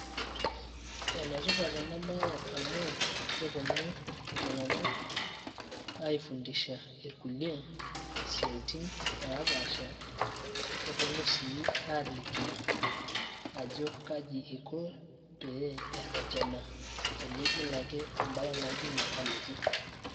enetipat ena baye amu keponu iltung`anak aifundisha irkulie isiaitin napaasha neponu sii aaliki ajo kaji iko peee erretena tenigil ake embaye naijo ina alotu.